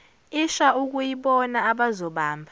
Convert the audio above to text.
isha okuyibona abazobamba